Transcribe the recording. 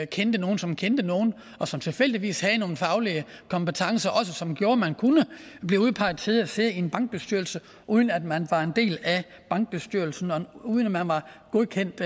kendte nogen som kendte nogen og som tilfældigvis havde nogle faglige kompetencer som også gjorde at man kunne blive udpeget til at sidde i en bankbestyrelse uden at man var en del af bankbestyrelsen og uden at man var godkendt